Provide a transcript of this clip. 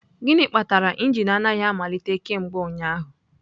Gịnị kpatara injin anaghị amalite kemgbe ụnyaahụ?